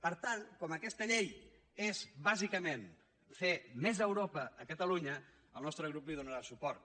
per tant com que aquesta llei és bàsicament fer més europa a catalunya el nostre grup hi donarà suport